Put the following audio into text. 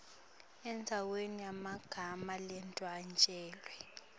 endzaweni yemagama ladvwetjelwe